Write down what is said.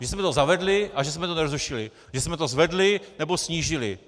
Že jsme to zavedli a že jsme to nezrušili, že jsme to zvedli nebo snížili.